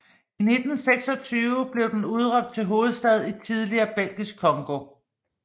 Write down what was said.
I 1926 blev den udråbt til hovedstad i tidligere Belgisk Congo